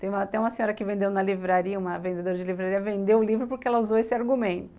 Tem uma senhora que vendeu na livraria, uma vendedora de livraria, vendeu o livro porque ela usou esse argumento.